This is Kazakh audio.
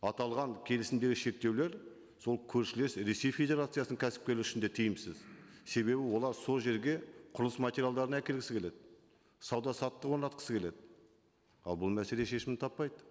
аталған келісімдегі шектеулер сол көршілес ресей федерациясының кәсіпкері үшін де тиімсіз себебі олар сол жерге құрылыс материалдарын әкелгісі келеді сауда саттық орнатқысы келеді ал бұл мәселе шешімін таппайды